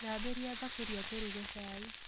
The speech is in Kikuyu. Thambĩria thaburia tũruge cai